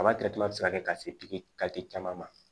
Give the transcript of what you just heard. Kaba bɛ se ka kɛ ka se pikiri caman ma